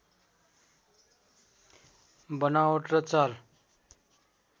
बनावट र चाल